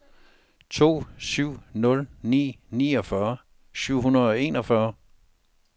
to syv nul ni niogfyrre syv hundrede og enogfyrre